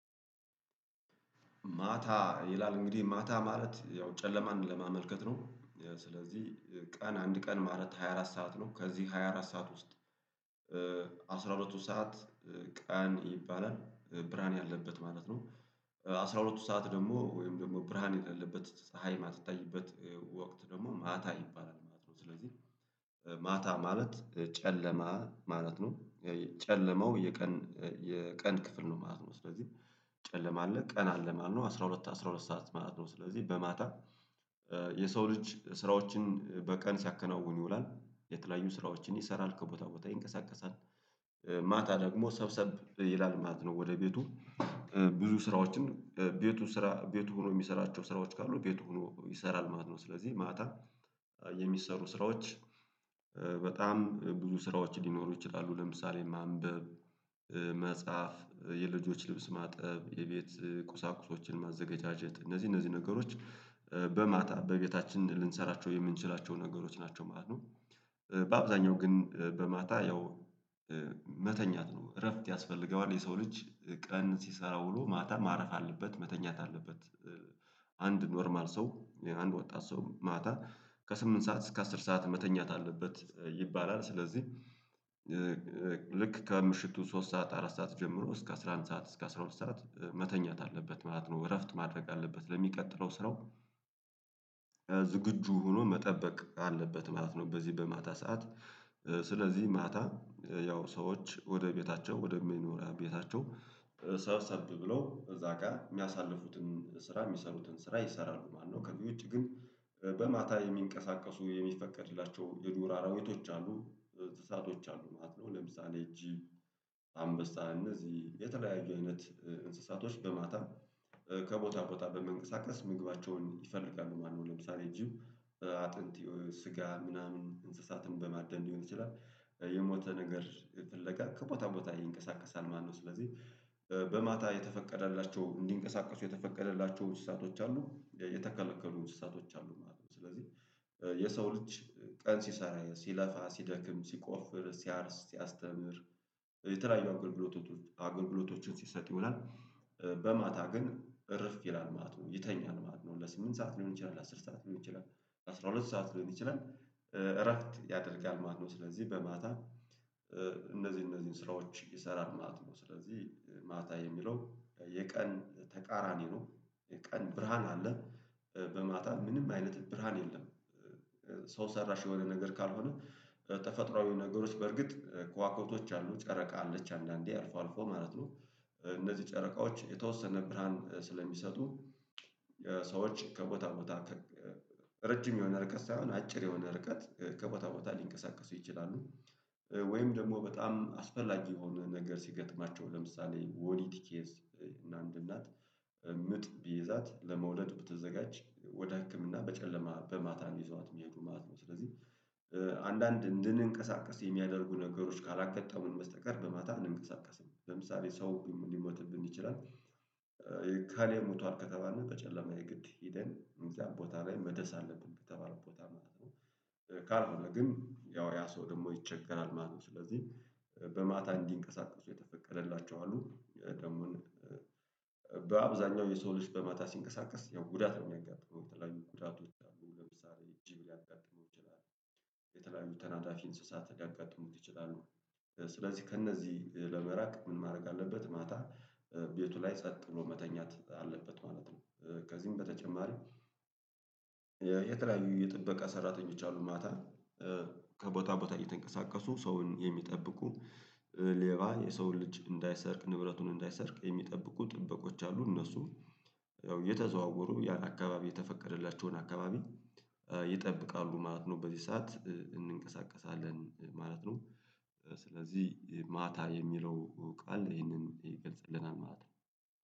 ማታ ይላል እንግዲህ ማታ ማለት ያው ጨለማን ለማመልከት ነው። ስለዚህ ቀን አንድ ቀን ማለት ሃያ አራት ሰዓት ነው ከዚህ ሃያ አራት ሰዓት ውስጥ አስራ ሁለቱ ሰዓት ቀን ይባላል ብርሃን ያለበት ማለት ነው። አስራ ሁለቱ ሰዓት ደግሞ ወይም ደግሞ ብርሃን የሌለበት ፀሀይ ማትታይበት ወቅት ደግሞ ማታ ይባላል ማለት ነው። ስለዚህ ማታ ማለት ጨለማ ማለት ነው ጨለማው የቀን የቀን ክፍል ነው ማለት ነው። ስለዚህ ጨለማ አለ ቀን አለ ማለት ነው አስራ ሁለት አስራ ሁለት ሰዓት ማለት ነው። ስለዚህ በማታ የሰው ልጅ ስራዎችን በቀን ሲያከናውን ይውላል የተለያዩ ስራዎችን ይሰራል ከቦታ ቦታ ይንቀሳቀሳል። ማታ ደግሞ ሰብሰብ ይላል ማለት ነው ወደ ቤቱ ብዙ ስራዎችን ቤቱ ስራ ቤቱ ሆኖ የሚሰራቸው ስራዎች ካሉ ቤቱ ሆኖ ይሰራል ማለት ነው። ስለዚህ ማታ የሚሰሩ ስራዎች። በጣም ብዙ ስራዎች ሊኖሩ ይችላሉ ለምሳሌ ማንበብ መጽሐፍ የልጆች ልብስ ማጠብ የቤት ቁሳቁሶችን ማዘገጃጀት እነዚህ እነዚህ ነገሮች በማታ በቤታችን ልንሰራቸው የምንችላቸው ነገሮች ናቸው ማለት ነው። በአብዛኛው ግን በማታ ያው መተኛት ነው እረፍት ያስፈልገዋል የሰው ልጅ ቀን ሲሰራ ውሎ ማታ ማረፍ አለበት መተኛት አለበት። አንድ ኖርማል ሰው አንድ ወጣት ሰው ማታ ከስምንት ሰዓት እስከ አስር ሰዓት መተኛት አለበት ይባላል ስለዚህ። ልክ ከምሽቱ ሶስት ሰዓት አራት ሰዓት ጀምሮ እስከ አስራ አንድ ሰዓት እስከ አስራ ሁለት ሰዓት መተኛት አለበት ማለት ነው እረፍት ማድረግ አለበት ለሚቀጥለው ስራው። ዝግጁ ሆኖ መጠበቅ አለበት ማለት ነው በዚህ በማታ ሰዓት ስለዚህ ማታ ያው ሰዎች ወደ ቤታቸው ወደሚኖሪያ ቤታቸው ሰብሰብ ብለው እዛ ጋር የሚያሳልፉትን ስራ የሚሰሩትን ስራ ይሰራሉ ማለት ነው። ከዚህ ውጪ ግን በማታ የሚንቀሳቀሱ የሚፈቀድላቸው የዱር አራዊቶች አሉ እንስሳቶች አሉ ማለት ነው። ለምሳሌ ጅብ አንበሳ እነዚህ የተለያዩ አይነት እንስሳቶች በማታ ከቦታ ቦታ በመንቀሳቀስ ምግባቸውን ይፈልጋሉ ማለት ነው። ለምሳሌ ጅብ አጥንት ስጋ ምናምን እንስሳትን በማዳን ሊሆን ይችላል የሞተ ነገር ፍለጋ ከቦታ ቦታ ይንቀሳቀሳል ማለት ነው። ስለዚህ በማታ የተፈቀደላቸው እንዲንቀሳቀሱ የተፈቀደላቸው እንስሳቶች አሉ የተከለከሉ እንስሳቶች አሉ ማለት ነው። ስለዚህ የሰው ልጅ ቀን ሲሰራ ሲለፋ ሲደክም ሲቆፍር ሲያርስ ሲያስተምር የተለያዩ አገልግሎቶች አገልግሎቶችን ሲሰጥ ይውላል በማታ ግን እርፍ ይላል ማለት ነው። ይተኛል ማለት ነው ለስምንት ሰዓት ሊሆን ይችላል ለአስር ሰዓት ሊሆን ይችላል። ለአስራ ሁለት ሰዓት ሊሆን ይችላል እረፍት ያደርጋል ማለት ነው። ስለዚህ በማታ እነዚህ እነዚህን ስራዎች ይሰራል ማለት ነው ስለዚህ ማታ የሚለው የቀን ተቃራኒ ነው። ቀን ብርሃን አለ በማታ ምንም አይነት ብርሃን የለም። ሰው ሰራሽ የሆነ ነገር ካልሆነ ተፈጥሮአዊ ነገሮች በርግጥ ከዋክብቶች አሉ ጨረቃ አለች አንዳንዴ አልፎ አልፎ ማለት ነው። እነዚህ ጨረቃዎች የተወሰነ ብርሃን ስለሚሰጡ ሰዎች ከቦታ ቦታ ረጅም የሆነ ርቀት ሳይሆን አጭር የሆነ ርቀት ከቦታ ቦታ ሊንቀሳቀሱ ይችላሉ። ወይም ደግሞ በጣም አስፈላጊ የሆነ ነገር ሲገጥማቸው ለምሳሌ ወሊድ ኬስ እና አንድ እናት ምጥ ቢይዛት ለመውለድ ብትዘጋጅ ወደ ህክምና በጨለማ በማታ ይዘዋት የሚሄዱ ማት ነው። ስለዚህ አንዳንድ እንድንቀሳቀስ የሚያደርጉ ነገሮች ካላጋጠሙን በስተቀር በማታ እንንቀሳቀስም ለምሳሌ ሰው ሊሞትብን ይችላል። እከሌ ሞቷል ከተባለ በጨለማ የግድ ሂደን እዚ ቦታ ላይ መድረስ አለብን በተባለው ቦታ ማለት ነው። ካልሆነ ግን ያው ያ ሰው ደግሞ ይቸገራል ማለት ነው። ስለዚህ በማታ እንዲንቀሳቀሱ የተፈቀደላቸው አሉ ደግሞ። በአብዛኛው የሰው ልጅ በማታ ሲንቀሳቀስ ያው ጉዳት ነው የሚያጋጥመው የተለያዩ ጉዳት ይችላሉ ለምሳሌ ጅብ ሊያጋጥመው ይችላሉ። የተለያዩ ተናዳፊ እንስሳት ሊያጋጥሙት ይችላሉ። ስለዚህ ከእነዚህ ለመራቅ ምን ማድረግ አለበት? ማታ ቤቱ ላይ ጸጥ ብሎ መተኛት አለበት ማለት ነው። ከዚህም በተጨማሪም። የተለያዩ የጥበቃ ሰራተኞች አሉ ማታ ከቦታ ቦታ እየተንቀሳቀሱ ሰውን የሚጠብቁ። ሌባ የሰውን ልጅ እንዳይሰርቅ ንብረቱን እንዳይሰርቅ የሚጠብቁ ጥበቆች አሉ እነሱ ያው እየተዘዋወሩ ያን አካባቢ የተፈቀደላቸውን አካባቢ ይጠብቃሉ ማለት ነው። በዚህ ሰዓት እንንቀሳቀሳለን ማለት ነው። ስለዚህ ማታ የሚለው ቃል ይሄንን ይገልጽልናል ማለት ነው